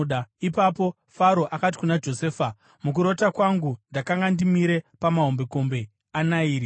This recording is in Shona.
Ipapo Faro akati kuna Josefa, “Mukurota kwangu, ndakanga ndimire pamahombekombe aNairi,